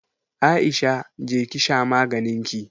Aisha! je ki sha maganinki.